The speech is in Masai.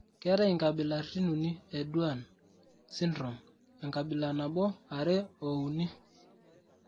keetai inkabilaritin uni e Duane syndrome ,enkabila 1,2, o 3.